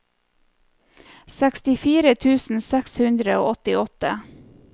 sekstifire tusen seks hundre og åttiåtte